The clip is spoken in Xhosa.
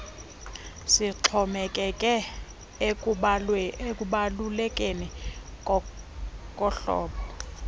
sixhomekeke ekubalulekeni kohlobo